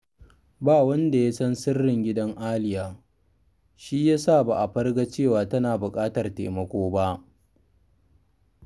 Ba wanda ya san sirrin gidan Aliya, shi ya sa ba a farga cewa tana buƙatar taimako ba